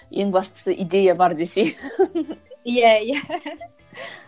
ең бастысы идея бар десей иә иә